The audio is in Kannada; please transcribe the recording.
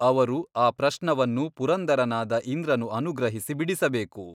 ಅವರು ಈ ಪ್ರಶ್ನವನ್ನು ಪುರಂದರನಾದ ಇಂದ್ರನು ಅನುಗ್ರಹಿಸಿ ಬಿಡಿಸಬೇಕು.